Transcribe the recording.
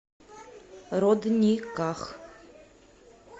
родниках